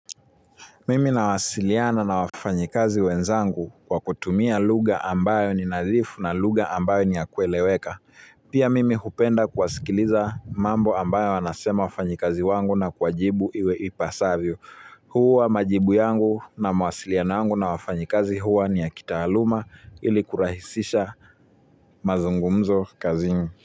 Mimi nawasiliana na wafanyikazi wenzangu kwa kutumia lugha ambayo ni nadhifu na lugha ambayo ni ya kueleweka. Pia mimi hupenda kuwasikiliza mambo ambayo wanasema wafanyikazi wangu na kuwajibu iwe ipasavyo. Huwa majibu yangu na mawasiliano yangu na wafanyikazi huwa ni ya kitaaluma ili kurahisisha mazungumzo kazini.